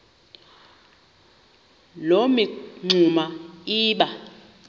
loo mingxuma iba